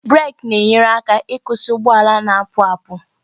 breeki na-enyere aka ịkwụsị ụgbọ ala na-apu apu